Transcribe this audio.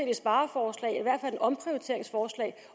et spareforslag i hvert fald et omprioriteringsforslag